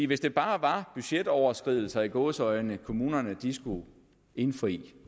hvis det bare var budgetoverskridelser i gåseøjne kommunerne skulle indfri